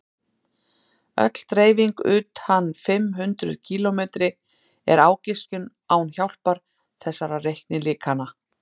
öll dreifing utan fimm hundruð kílómetri er ágiskun án hjálpar þessara reiknilíkana